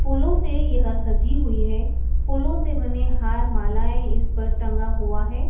फूलों से यह सजी हुई है फूलों से बने हार-मालाएं इस पर टंगा हुआ है।